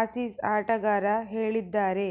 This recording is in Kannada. ಆಸೀಸ್ ಆಟಗಾರ ಹೇಳಿದ್ದಾರೆ